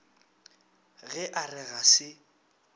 ge a re ga se